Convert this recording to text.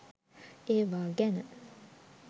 ඒවා ගැන